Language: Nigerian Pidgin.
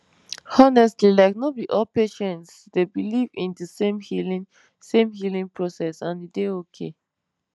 honestly like no be all patients dey believe in de same healing same healing process and e dey okay